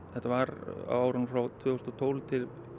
þetta var á árunum frá tvö þúsund og tólf til